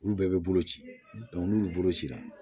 Olu bɛɛ bɛ bolo ci n'olu bolo cira